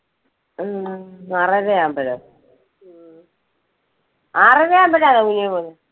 ഹും ആറരയാകുമ്പോഴാ? ആറരയാകുമ്പോഴാണോ കുഞ്ഞ് പോകുന്നത്?